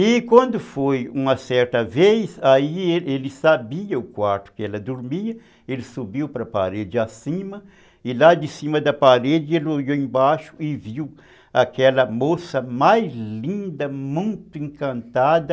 E quando foi uma certa vez, aí ele sabia o quarto que ela dormia, ele subiu para a parede acima, e lá de cima da parede ele olhou embaixo e viu aquela moça mais linda, muito encantada,